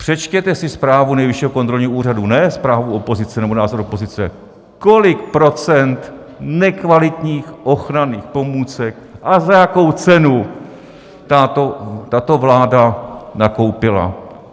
Přečtěte si zprávu Nejvyššího kontrolního úřadu, ne zprávu opozice nebo názor opozice, kolik procent nekvalitních ochranných pomůcek a za jakou cenu tato vláda nakoupila.